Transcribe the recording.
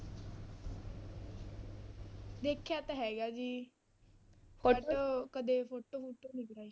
ਵੇਖਿਆ ਤਾਂ ਹੈਗਾ ਜੀ photo ਕਦੇ photo ਫੂਟੋ ਨੀ ਕਰਵਾਈ।